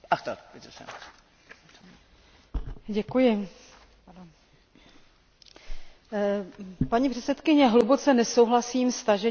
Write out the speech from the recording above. Paní předsedkyně, hluboce nesouhlasím s tažením euroskeptiků proti společné migrační a azylové politice zakotvené v Lisabonské smlouvě.